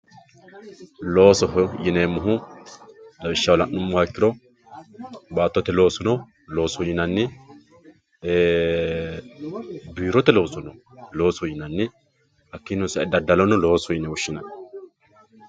loosoho yineemmohu lawishshaho la'nummoha ikkiro baattote loosono loosoho yinanni biirote loosono loosoho yinanni hakkiino sa"e daddalono loosoho yine woshshinanni.